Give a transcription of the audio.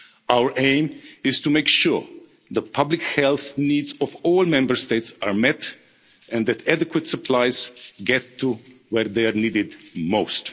Our aim is to make sure that the public health needs of all Member States are met and that adequate supplies get to where they are needed